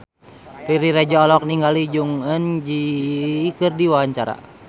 Riri Reza olohok ningali Jong Eun Ji keur diwawancara